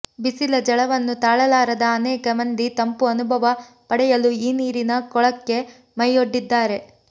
ಬಿಸಿಲ ಝಳವನ್ನು ತಾಳಲಾರದ ಅನೇಕ ಮಂದಿ ತಂಪು ಅನುಭವ ಪಡೆಯಲು ಈ ನೀರಿನ ಕೊಳಕ್ಕೆ ಮೈಯೊಡ್ಡಿದ್ದಾರೆ